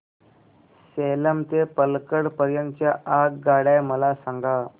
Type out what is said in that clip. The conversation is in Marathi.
सेलम ते पल्लकड पर्यंत च्या आगगाड्या मला सांगा